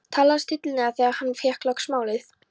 Talaði stillilega þegar hann fékk loks málið.